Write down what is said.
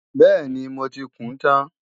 Bẹ́ẹ̀ni, mo ti kùún tán